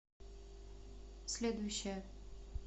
следующая